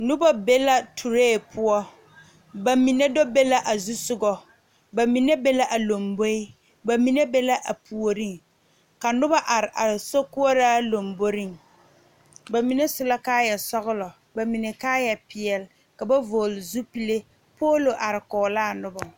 Nobɔ be la turee poɔ ba mine do be la a zusugɔ ba mine be a lomboe ba mine ba la a puoriŋ ka nobɔ are are sokoɔraa lomboriŋ ba mine su la kaayɛ sɔglɔ ba mine kaayɛ peɛle ka ba vɔgle zupile poolo are kɔge laa nobɔ.